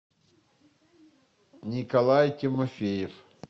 николай тимофеев